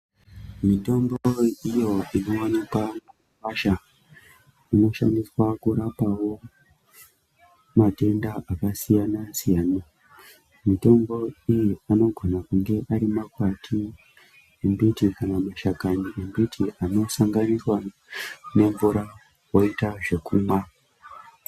Mitombo iyo, inowanikwa mumakwasha, inoshandiswa kurapawo matenda akasiyana-siyana, mitombo iyi anogona kunge ari makwati embiti kana mashakanyi embiti anosanganiswa nemvura, woita zvekumwa.